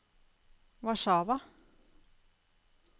Warszawa